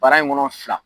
Bara in kɔnɔ fila